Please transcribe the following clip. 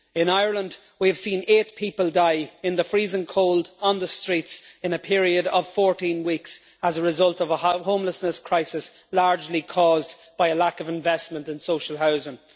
In Ireland, we have seen eight people die in the freezing cold on the streets in a period of 14 weeks as a result of a homelessness crisis largely caused by a lack of investment in social housing.